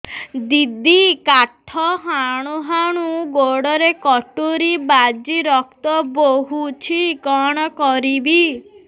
ଦିଦି କାଠ ହାଣୁ ହାଣୁ ଗୋଡରେ କଟୁରୀ ବାଜି ରକ୍ତ ବୋହୁଛି କଣ କରିବି